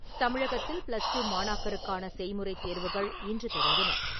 தமிழகத்தில், பிளஸ்டூ மாணாக்கருக்கான செய்முறை தேர்வுகள் இன்று தொடங்கின.